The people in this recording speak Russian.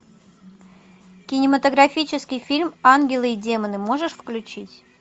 кинематографический фильм ангелы и демоны можешь включить